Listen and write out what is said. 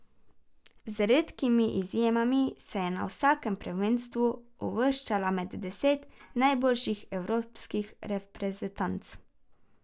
Z redkimi izjemami se je na vsakem prvenstvu uvrščala med deset najboljših evropskih reprezentanc.